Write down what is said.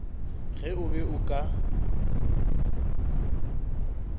ge o be o ka